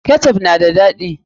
Ketchup na da daɗi.